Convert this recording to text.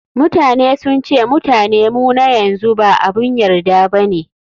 Mutane sun ce Mutane mu na yanzu ba abun yarda bane.